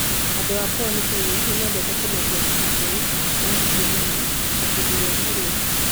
Andũ a Pwani Kenya nĩ mendete kũmeria ndibei ya mũhihano ta kĩndũ gĩa kũrĩa.